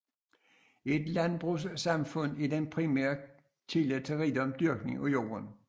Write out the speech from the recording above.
I et landbrugssamfund er den primære kilde til rigdom dyrkning af jorden